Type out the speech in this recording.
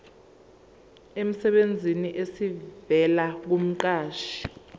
emsebenzini esivela kumqashi